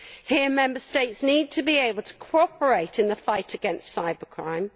Here Member States need to be able to cooperate in the fight against cybercrime.